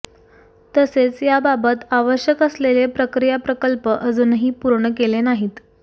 तसेच याबाबत आवश्यक असलेले प्रक्रीया प्रकल्प अजुनही पूर्ण केले नाहीत